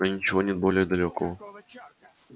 но ничего нет более далёкого